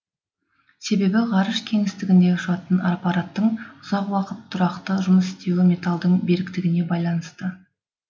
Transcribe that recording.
себебі ғарыш кеңістігінде ұшатын аппараттың ұзақ уақыт тұрақты жұмыс істеуі металдың беріктігіне байланысты